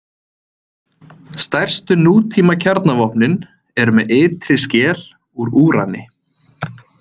Stærstu nútímakjarnavopnin eru með ytri skel úr úrani.